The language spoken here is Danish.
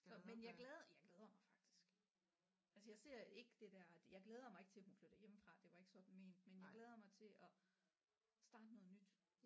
Men jeg glæder jeg glæder mig faktisk altså jeg ser ikke det der jeg glæder mig ikke til hun flytter hjemmefra det var ikke sådan ment men jeg glæder mig til at starte noget nyt